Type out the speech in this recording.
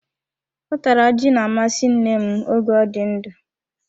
Utara ji na-amasị nne m oge ọ dị ndụ.